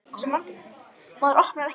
Já, hún er svaka góð svaraði Lilla.